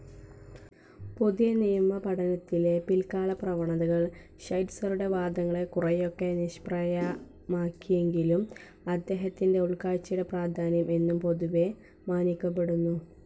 പുതിയനിയമപഠനത്തിലെ പിൽകാലപ്രവണതകൾ ഷൈറ്റ്‌സറുടെ വാദങ്ങളെ കുറെയൊക്കെ നിഷ്പ്രഭമാക്കിയെങ്കിലും അദ്ദേഹത്തിൻ്റെ ഉൾകാഴ്‌ചയുടെ പ്രാധാന്യം എന്നും പൊതുവെ മാനിക്കപ്പെടുന്നു.